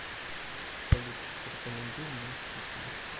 салют порекомендуй мне мстители